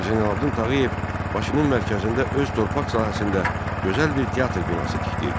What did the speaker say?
Hacı Zeynalabdin Tağıyev Bakının mərkəzində öz torpaq sahəsində gözəl bir teatr binası tikdirdi.